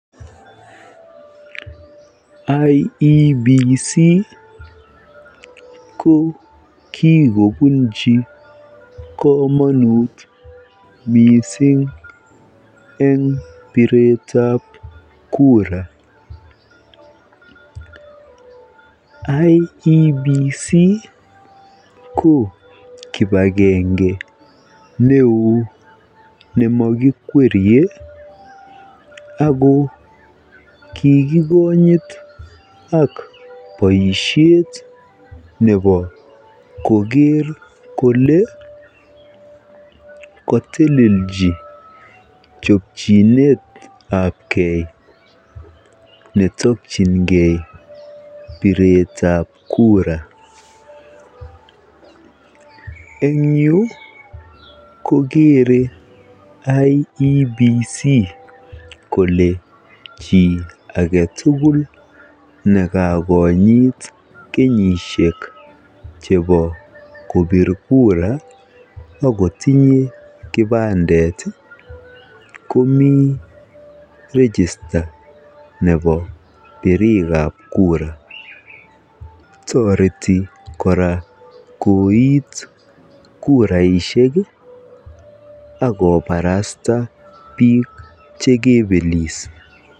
IEBC ko kikopunji kamonut missing eng biretab kura IEBC ko kipakenge ne oo nemakikwerie akoo kikikonyit ak boisiet nebo koker kole katelelchi chopchinet ap gei netokyingee biretab kura eng yu koker IEBC kole chii agetugul nekakonyit kenyisiek chebo kopir kura akotinyee kipandet komii register nebo birikab kura toreti kora koit kuraisiek akoparasta biik chekebelis.